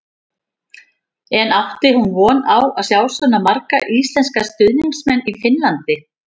En átti hún von á að sjá svona marga íslenska stuðningsmenn í Finnlandi?